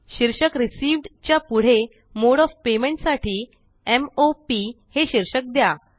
शीर्षक रिसीव्ह्ड च्या पुढे मोडे ओएफ पेमेंट साठी m o पी हे शीर्षक द्या